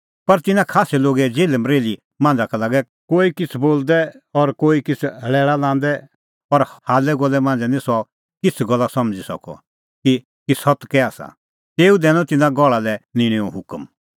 पर तिन्नां खास्सै लोगे जेल्हमरेल्ही मांझ़ा का लागै कोई किछ़ बोलदै और कोई किछ़ लैल़ा लांदै और हाल्लैगोल्लै मांझ़ै निं सह किछ़ गल्ला समझ़ी सकअ कि सत्त कै आसा तेऊ दैनअ तिन्नां गहल़ा लै निंणैओ हुकम